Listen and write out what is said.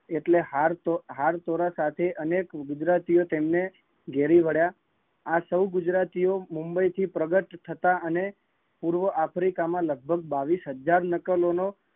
એટલે હાર પેરાવા સાથે અનેક ગુજરાતીઓ એ તેમને ઘેરી વળ્યાં, આ સૌ ગુજરાતીઓ મુંબઈ થી પ્રગટ થયા અને પૂર્વઅફ્રિકા માં લગભગ બાવીશહજાર નકલો નો